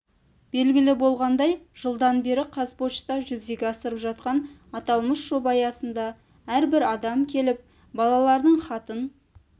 белгілі болғандай жылдан бері қазпошта жүзеге асырып жатқан аталмыш жоба аясында әрбір адам келіп балалардың хатын